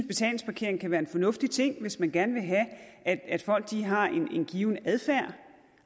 betalingsparkering kan være en fornuftig ting hvis man gerne vil have at folk har en given adfærd